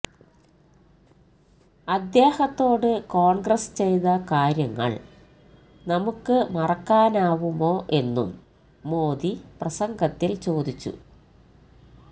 അദ്ദേഹത്തോട് കോൺഗ്രസ് ചെയത കാര്യങ്ങൾ നമുക്ക് മറക്കാനാവുമോ എന്നും മോദി പ്രസംഗത്തിൽ ചോദിച്ചു